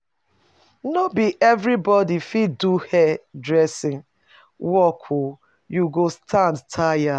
No be everybodi fit do hair-dressing work o, you go stand tire.